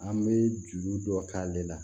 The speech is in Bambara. An bɛ juru dɔ k'ale la